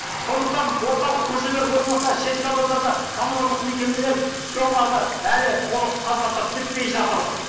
сондықтан орталық көшелер болмаса шеткі аудандарда коммуналдық мекемелер түскен қарды әлі толық тазартып бітпей жатыр